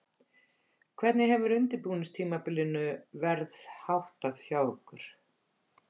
Hvernig hefur undirbúningstímabilinu verð háttað hjá ykkur?